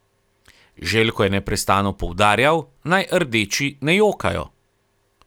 Željko je neprestano poudarjal, naj rdeči ne jokajo.